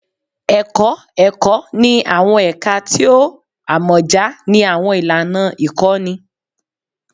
Ẹkọ Ẹkọ ni awọn ẹka ti o amọja ni awọn ilana ikọni